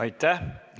Aitäh!